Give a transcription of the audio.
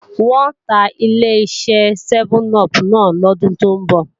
Wọn ò ta Ileṣẹ́ sẹ́mẹ́n-upù náà lọ́dún tó ń bọ̀